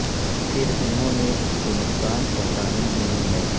پھر انہوں نے اس کو نقصان پہنچانے نہیں ہے